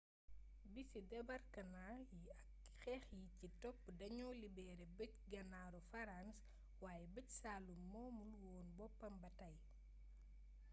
bisi debarkamaa yi ak xeex yi ci topp dañoo libeere bëj-ganaaru farans waaye bëj-saalum moomul woon boppam ba tey